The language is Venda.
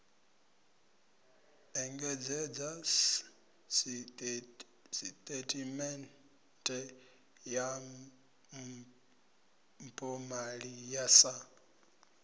engedzedza sisiṱeme ya mpomali sa